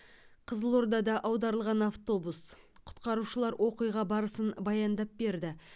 қызылордада аударылған автобус құтқарушылар оқиға барысын баяндап берді